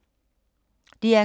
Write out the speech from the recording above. DR K